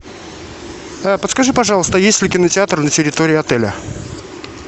а подскажи пожалуйста есть ли кинотеатр на территории отеля